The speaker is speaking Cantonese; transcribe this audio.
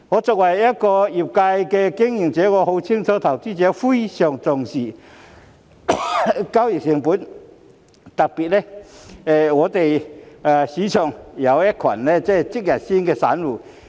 作為業界經營者，我很清楚投資者非常重視交易成本，特別是市場上有一群"即日鮮"散戶。